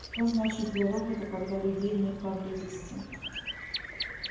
что значит для робота когда людей нет поблизости